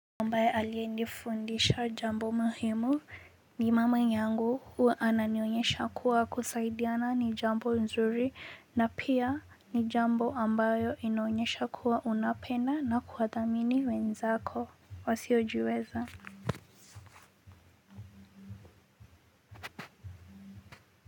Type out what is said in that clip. Ambaye aliyenifundisha jambo muhimu ni mama yangu huwa ananionyesha kuwa kusaidiana ni jambo nzuri na pia ni jambo ambayo inaonyesha kuwa unapenda na kuwadhamini wenzako wasiojiweza.